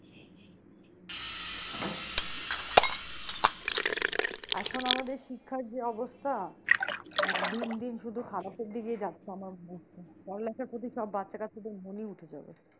এখন আমাদের শিক্ষার যে অবস্থা আহ দিন দিন শুধু খারাপের দিকেই যাচ্ছে আমার মনে হচ্ছে পড়ালেখার প্রতি সব বাচ্চারা সব মনই উঠে যাবে।